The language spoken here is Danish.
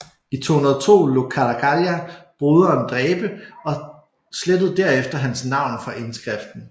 I 212 lod Caracalla broderen dræbe og slettede derefter hans navn fra indskriften